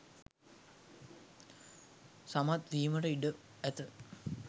සමත් වීමට ඉඩ ඇත.